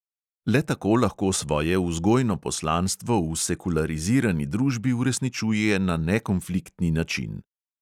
Le tako lahko svoje vzgojno poslanstvo v sekularizirani družbi uresničuje na nekonfliktni način.